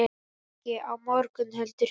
Ekki á morgun heldur hinn.